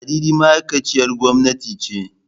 Ladidi ma'aikaciyar gwamnati ce.